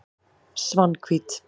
Svanhvít